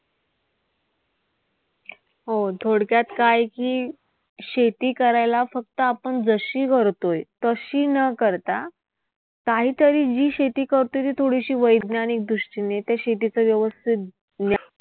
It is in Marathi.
हो थोडक्यात काय की, शेती करायला फक्त आपण जशी करतोय तशी न करता, काहीतरी जी शेती करतोय ती थोडीशी वैज्ञानिक दृष्टीने, त्या शेतीचं व्यवस्थित ज्ञान